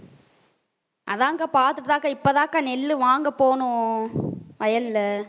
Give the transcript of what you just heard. அதான்க்கா பாத்துட்டு தான்க்கா இப்பதான் அக்கா நெல்லு வாங்கப் போனோம் வயல்ல